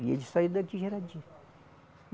E eles saíram daqui já era dia